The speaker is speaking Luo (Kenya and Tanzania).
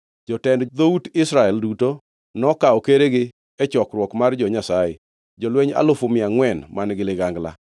Jotend dhout Israel duto nokawo keregi e chokruok mar jo-Nyasaye, jolweny alufu mia angʼwen man-gi ligangla.